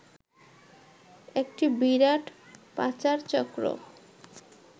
একটি বিরাট পাচার চক্র